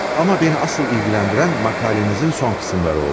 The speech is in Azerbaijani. Amma məni əsl maraqlandıran məqalənizin son qısımları oldu.